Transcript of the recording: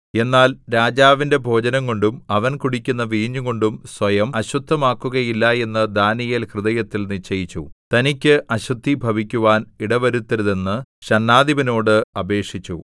എന്നാൽ രാജാവിന്റെ ഭോജനംകൊണ്ടും അവൻ കുടിക്കുന്ന വീഞ്ഞുകൊണ്ടും സ്വയം അശുദ്ധമാക്കുകയില്ല എന്ന് ദാനീയേൽ ഹൃദയത്തിൽ നിശ്ചയിച്ചു തനിക്ക് അശുദ്ധി ഭവിക്കുവാൻ ഇടവരുത്തരുതെന്ന് ഷണ്ഡാധിപനോട് അപേക്ഷിച്ചു